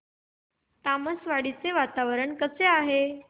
तामसवाडी चे वातावरण कसे आहे